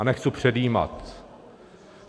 A nechci předjímat.